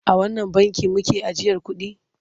A wannan bankin make ajiyar kuɗi?